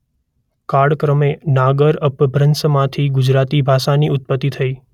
કાળક્રમે નાગર અપભ્રંશમાંથી ગુજરાતી ભાષાની ઉત્પત્તિ થઈ.